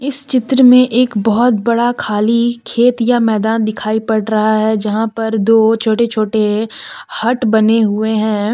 इस चित्र में एक बहुत बड़ा खाली खेत या मैदान दिखाई पड़ रहा है जहां पर दो छोटे छोटे हट बने हुए हैं।